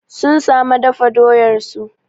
Sun sama dafa doyar su